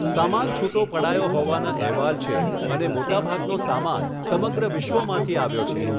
સામાન છુટો પડાયો હોવાના અહેવાલ છે અને મોટાભાગનો સામાન સમગ્ર વિશ્વમાંથી આવ્યો છે.